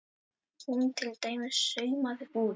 Hún til dæmis saumaði út.